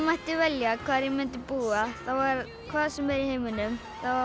mætti velja hvar ég myndi búa hvar sem er í heiminum